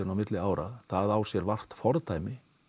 á milli ára það á sér vart fordæmi